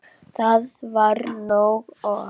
Það var nóg. og.